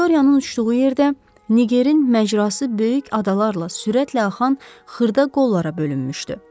Viktoriyanın uçduğu yerdə Ngerin məcrası böyük adalarla sürətlə axan xırda qollara bölünmüşdü.